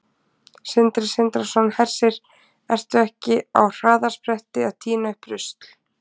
Sindri Sindrason: Hersir, ertu ekki á harðaspretti að tína upp rusl?